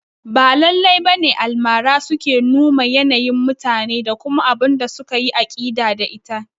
Ba lallai bane Almara suke numa yanayin mutane da kuma abunda suka yi aƙida da ita